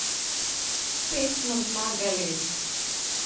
Spet smo zmagali!